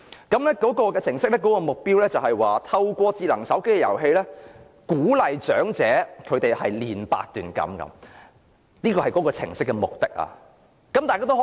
該程式目的是"透過人工智能手機應用程式/遊戲，鼓勵長者鍛鍊八段錦，培養健康的生活模式。